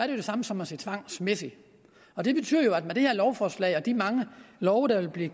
det samme som at sige tvangsmæssigt og det betyder at med det her lovforslag og de mange love der vil blive